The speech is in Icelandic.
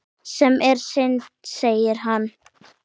Sem er synd segir hann.